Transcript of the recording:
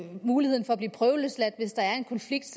muligheden for at blive prøveløsladt hvis der en konflikt